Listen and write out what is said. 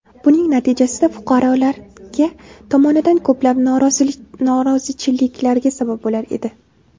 Buning natijasida fuqarolarga tomonidan ko‘plab norozichiliklarga sabab bo‘lar edi.